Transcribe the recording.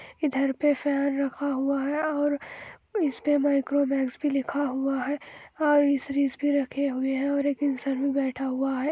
इधर पे फैन रखा हुआ है और इस पर माइक्रोमैक्स भी लिखा हुआ और भी रखे हुए हैं और एक इनसर भी बैठा हुआ हैं।